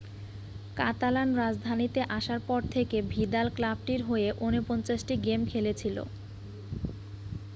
কাতালান-রাজধানীতে আসার পর থেকে ভিদাল ক্লাবটির হয়ে 49 টি গেম খেলেছিল